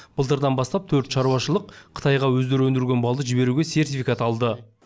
былтырдан бастап төрт шаруашылық қытайға өздері өндірген балды жіберуге сертификат алды